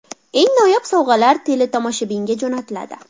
Eng noyob sovg‘alar teletomoshabinga jo‘natiladi.